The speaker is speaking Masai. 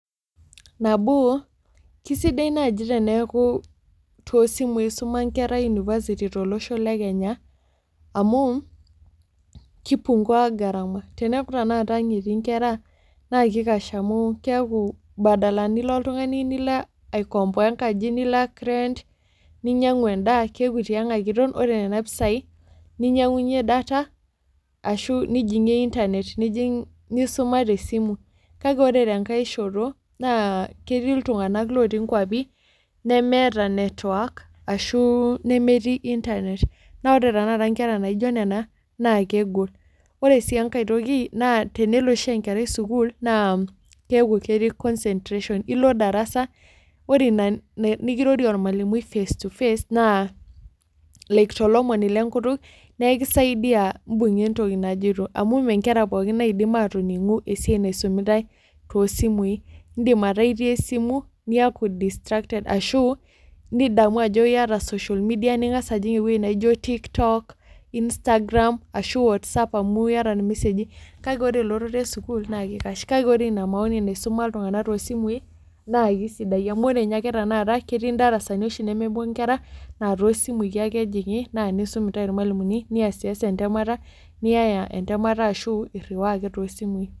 Nabo kesidai naaji teneku tee simu esuma enkera ee university tolosho lee Kenya amuu kipungua gharama tenekuu tanakata ang etii enkera naa kikash amu keeku badala nilo aikompoa enkaji nilak rent ninyiangu endaa keeku tiag ake Eton ore Nona pisai nainyiangunye data ashu nijingie internet nisuma tesimu kake ore tenkae shoto ketii iltung'ana lotii nkwapii lemeeta network ashu lemetii internet naa ore tanakata enkera naijio Nena naa kegol ore sii enkae toki naa tenelo oshi enkerai sukuul naa ketii oshi concentration elo darasa ore ena nikirorie ormalimui face to face naa ekisaidia ebunga entoki najoito amu mee Nkera pookin naidim atoningu esiai naisumitai tosimui edim ataa etii esimu nitakua distracted ashu nidamu Ajo eyata social media ningas ajig ewueji naijio TikTok, Instagram, WhatsApp kake ore elototo esukuul naa kikash kake ore ena maoni naisuma iltung'ana too simui naa kisidai amu ore ninye ake naa ketii darasani nemepuo Nkera naa too simui ake ejingie nisum entae irmalimuni niyaya entemata ashu eriwa ake tosimui